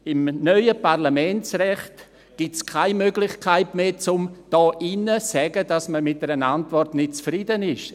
Im neuen Parlamentsrecht gibt es keine Möglichkeit mehr, um hier drin zu sagen, dass man mit einer Antwort nicht zufrieden ist.